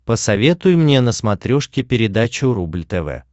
посоветуй мне на смотрешке передачу рубль тв